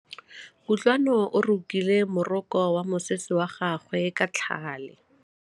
Kutlwanô o rokile morokô wa mosese wa gagwe ka tlhale.